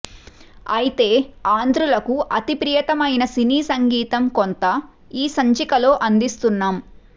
ఐతే ఆంధ్రులకు అతి ప్రియతమమైన సినీసంగీతం కొంత ఈ సంచికలో అందిస్తున్నాం